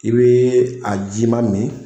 I bɛ a jiman min